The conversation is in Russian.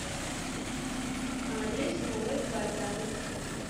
адрес новый квартал